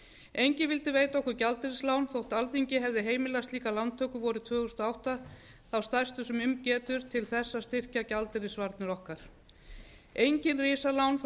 enginn vildi veita okkur gjaldeyrislán þó alþingi hefði heimilað slíka lántöku vorið tvö þúsund og átta þá stærstu sem um getur til að styrkja gjaldeyrisvarnir okkar engin risalán reyndust vera í